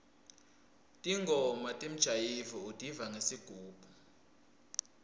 ntingoma temjayivo utiva ngesigubhu